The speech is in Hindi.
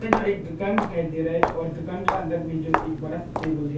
जो एक दुकान दिखाई दे रहा है और दुकान का अंदर में जो एक बड़ा सा टेबल है।